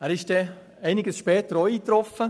Er traf dann einige Zeit später ebenfalls ein.